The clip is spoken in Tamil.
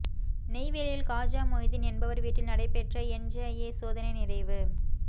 நெய்வேலியில் காஜா மொய்தீன் என்பவர் வீட்டில் நடைபெற்ற என்ஜஏ சோதனை நிறைவு